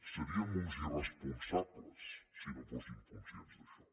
seríem uns irresponsables si no fóssim conscients d’això